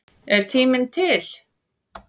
Er tíminn til?